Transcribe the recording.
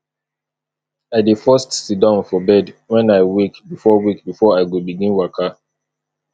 i dey first siddon for bed wen i wake before wake before i go begin waka